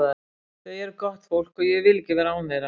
Þau eru gott fólk og ég vil ekki vera án þeirra.